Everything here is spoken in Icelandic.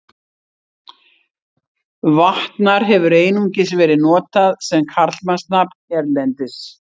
Vatnar hefur einungis verið notað sem karlmannsnafn hérlendis.